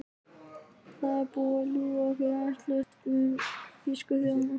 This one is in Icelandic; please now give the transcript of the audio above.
Það er búið að ljúga ykkur rænulausa um þýsku þjóðina.